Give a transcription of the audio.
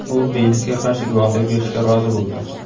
U Beylisga qarshi guvohlik berishga rozi bo‘ldi.